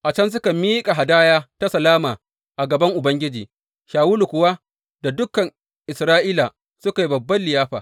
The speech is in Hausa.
A can suka miƙa hadaya ta salama a gaban Ubangiji, Shawulu kuwa da dukan Isra’ila suka yi babban liyafa.